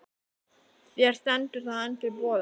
Þér stendur það enn til boða.